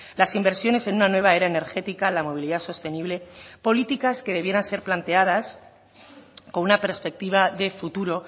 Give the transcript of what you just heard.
las inversiones en una nueva era energética la movilidad sostenible políticas que debieran ser planteadas con una perspectiva de futuro